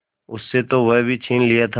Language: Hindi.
उससे तो वह भी छीन लिया था